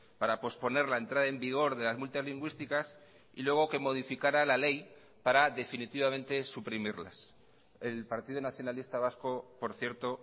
para posponer la entrada en vigor de las multas lingüísticas y luego que modificara la ley para definitivamente suprimirlas el partido nacionalista vasco por cierto